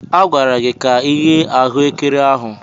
A gwara gị ka ighe ahuekere ahụ.